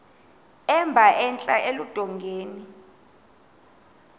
emba entla eludongeni